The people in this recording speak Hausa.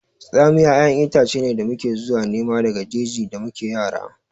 Tsamiya ƴaƴan itace ne da muke zuwa nema daga jeji da muke yara